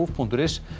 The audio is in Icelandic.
punktur is